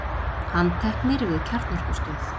Handteknir við kjarnorkustöð